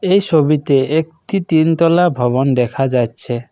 এই ছবিতে একটি তিন তলা ভবন দেখা যাচ্ছে।